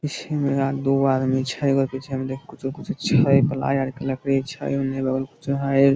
पिछू में दूगो आदमी छै | एगो पीछे में देख कुछो कुछो छै पलाय आर के लखड़ी छै उने बगल में कुछ हेय ।